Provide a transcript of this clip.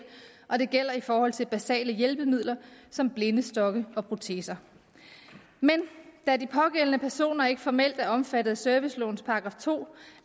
og det gælder i forhold til basale hjælpemidler som blindestokke og proteser men da de pågældende personer ikke formelt er omfattet af servicelovens § to